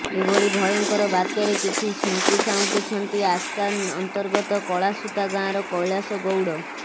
ଏଭଳି ଭୟଙ୍କର ବାତ୍ୟାରେ କିଛି ସ୍ମୃତି ସାଉଁଟିଛନ୍ତି ଆସ୍କା ଅନ୍ତର୍ଗତ କଳାସୁତା ଗାଁର କୈଳାସ ଗୌଡ